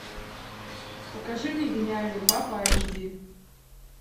покажи мне гениальный папа эйч ди